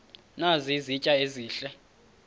nazi izitya ezihle